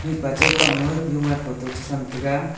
mihpa che thoma jowan photo chisam taiga.